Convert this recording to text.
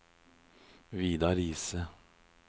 Vidar Riise